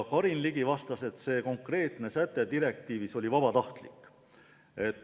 Karin Ligi vastas, et see konkreetne säte direktiivis oli vabatahtlik.